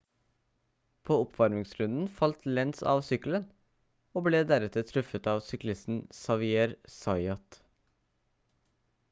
på oppvarmingsrunden falt lenz av sykkelen og ble deretter truffet av syklisten xavier zayat